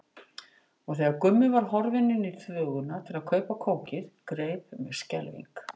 Og þegar Gummi var horfinn í þvöguna til að kaupa kókið greip mig skelfing.